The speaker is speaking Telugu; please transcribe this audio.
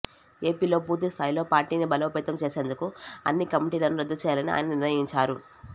ఏపీలో పూర్తి స్థాయిలో పార్టీని బలోపేతం చేసేందుకు అన్ని కమిటీలను రద్దు చేయాలని ఆయన నిర్ణయించారు